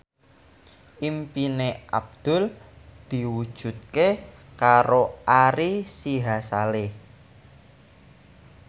impine Abdul diwujudke karo Ari Sihasale